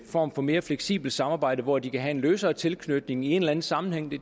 form for mere fleksibelt samarbejde hvor de kan have en løsere tilknytning i en eller anden sammenhæng det